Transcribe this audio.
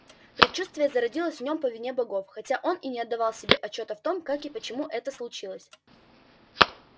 предчувствие зародилось в нём по вине богов хотя он и не отдавал себе отчёта в том как и почему это случилось